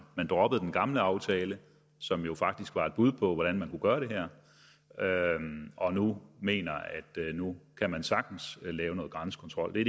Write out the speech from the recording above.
man droppede den gamle aftale som jo faktisk var et bud på hvordan man kunne gøre det her og nu mener at nu kan man sagtens lave noget grænsekontrol det